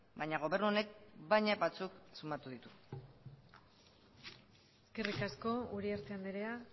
baina gobernu honek baina batzuk sumatu ditu eskerrik asko uriarte andrea